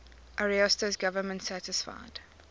ariosto's government satisfied